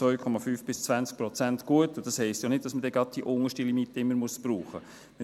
2,5–20 Prozent gut, und das heisst ja nicht, dass man dann gerade die unterste Limite immer brauchen muss.